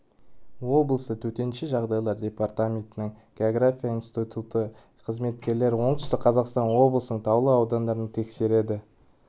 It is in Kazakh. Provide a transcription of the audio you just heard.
облысы төтенше жағдайлар департаментінің география институты қызметкерлері оңтүстік қазақстан облысының таулы аудандарын тексерді